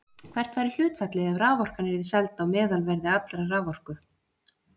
Hvert væri hlutfallið ef raforkan yrði seld á meðalverði allrar raforku?